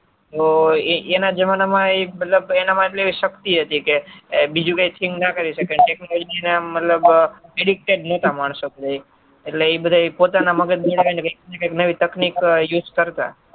તો એના જમાના એ મતલબ એના માં એટલે શક્તિ હતું કે બીજું કઈ think ન કરી શકે મતલબ હેડી જ ન શકે માણસો બધા એટલે તે પોતાની મગજ વ્યક્તિ ગત નવી technique use કરતા